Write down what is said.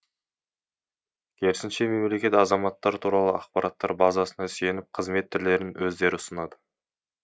керісінше мемлекет азаматтар туралы ақпараттар базасына сүйеніп қызмет түрлерін өздері ұсынады